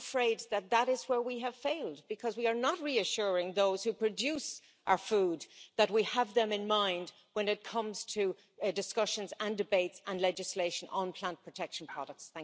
I am afraid that is where we have failed because we are not reassuring those who produce our food that we have them in mind when it comes to discussions and debates and legislation on plant protection products.